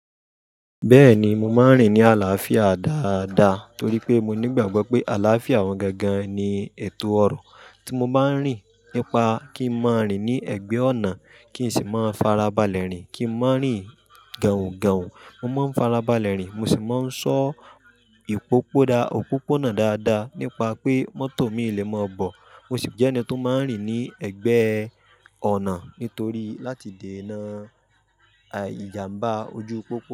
Bẹ́ẹ̀ni, mo máa ń rìn ní àlàáfíà dáadáa torí pé mo nígbàgbọ́ pé àlàáfíà àwọn gangan ni ètò ọrọ̀. Tí mo bá ń rìn nípa kí n má rìn ní ẹ̀gbẹ́ ọ̀nà, kí n sì má farabalẹ̀ rìn, kí n má rìn gahùn-gahùn, mo má ń farabalẹ̀ rìn, mo sì máa ń ṣọ́ ìpòpọ̀na dáadáa nípa pé mọ́tò mi lè máa bọ̀. Mo sì jẹ́ ẹni tó máa ń rìn ní ẹ̀gbẹ́ ọ̀nà nítorí láti dènà ìjàmbá ojú pópó.